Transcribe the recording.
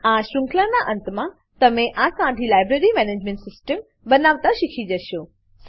આ શૃંખલાનાં અંતમાં તમે આ સાદી library management system library management system બનાવતા શીખી જશો